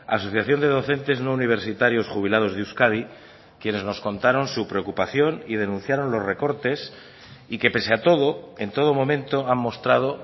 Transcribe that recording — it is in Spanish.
asociación de docentes no universitarios jubilados de euskadi quienes nos contaron su preocupación y denunciaron los recortes y que pese a todo en todo momento han mostrado